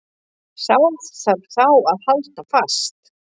Sá þarf þá að halda fast.